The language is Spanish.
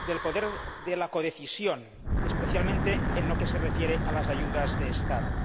del poder de codecisión especialmente en lo que se refiere a las ayudas estatales.